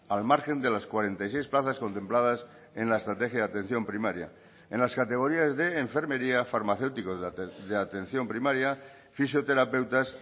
al margen de las cuarenta y seis plazas contempladas en la estrategia de atención primaria en las categorías de enfermería farmacéuticos de atención primaria fisioterapeutas